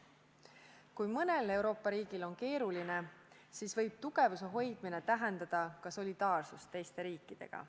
Kui mõnel Euroopa riigil on keeruline, siis võib tugevuse hoidmine tähendada ka solidaarsust teiste riikidega.